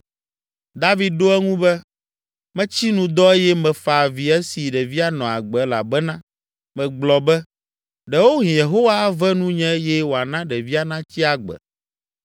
David ɖo eŋu be, “Metsi nu dɔ eye mefa avi esi ɖevia nɔ agbe elabena megblɔ be, ‘Ɖewohĩ Yehowa ave nunye eye wòana ɖevia natsi agbe.’